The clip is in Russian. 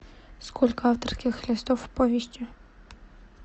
сколько авторских листов в повести